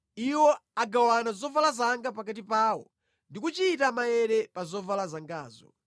Iwo agawana zovala zanga pakati pawo ndi kuchita maere pa zovala zangazo.